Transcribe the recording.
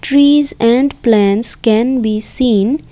trees and plants can be seen.